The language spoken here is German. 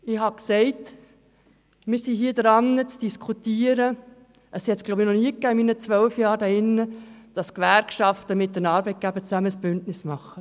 In den zwölf Jahren, während derer ich in diesem Saal bin, war es, so glaube ich, noch nie der Fall, dass die Gewerkschaften zusammen mit den Arbeitgebern ein Bündnis eingingen.